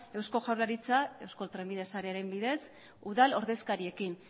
eusko jaurlaritza eusko trenbide sarearen bidez udal ordezkariekin